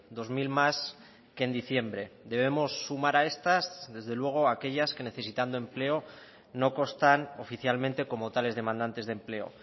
dos mil más que en diciembre debemos sumar a estas desde luego aquellas que necesitando empleo no constan oficialmente como tales demandantes de empleo